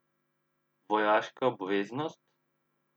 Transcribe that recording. Vojaška obveznost?